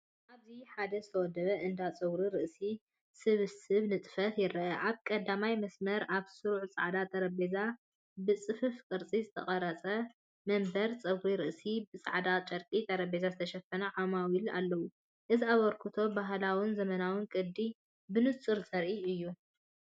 ኣብዚ ኣብ ሓደ ዝተወደበ እንዳ ጸጉሪ ርእሲ ስብስብ ንጥፈታት ይረአ። ኣብ ቀዳማይ መስርዕ ኣብ ስሩዕ ጻዕዳ ጠረጴዛ ብጽፉፍ ቅርጺ ዝተቖርጹ መንበር ጸጉሪ ርእሲን ብጻዕዳ ጨርቂ ጠረጴዛ ዝተሸፈኑ ዓማዊልን ኣለዉ። እዚ ኣበርክቶ ባህላውን ዘመናውን ቅዲብንጹር ዘርኢ እዩ።